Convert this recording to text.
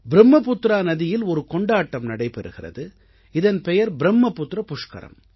ப்ரும்மபுத்ரா நதியில் ஒரு கொண்டாட்டம் நடைபெறுகிறது இதன் பெயர் ப்ரும்மபுத்ர புஷ்கரம்